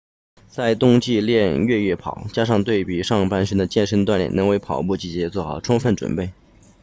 在冬季练练越野跑加上对上半身的健身锻炼能为跑步季做好充分准备